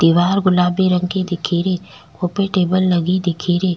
दिवार गुलाबी रंग की दिखे री वो पे टेबल लगी दिखे री।